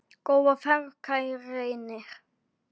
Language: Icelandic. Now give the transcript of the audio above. Góða ferð, kæri Reynir.